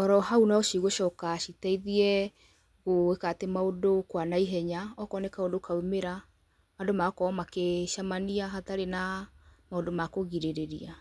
Oro hau no cigũcoka citeithie gũĩkatĩ maũndũ kwa naihenya, okorwo nĩ kaũndũ kaumĩra, andũ magakorwo magĩcemania hatarĩ na ũndũ makũgirĩrĩria.